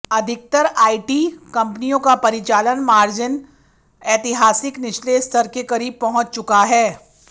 अधिकतर आईटी कंपनियों का परिचालन मार्जिन ऐतिहासिक निचले स्तर के करीब पहुंच चुका है